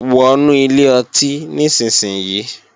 Wọnú ilé ọtí nísinsìnyí!